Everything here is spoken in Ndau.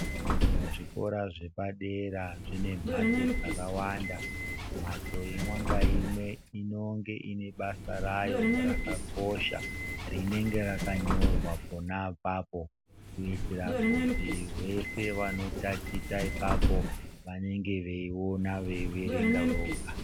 Muzvikora zvepadera zvine mbatso dzakawanda mbatso imwe naumwe inenge ine basa rawo rakakosha rinenge rakanyorws pona apapo kuitira kuti vese vanotatichira apapo vanenge veiona veierenga Vega.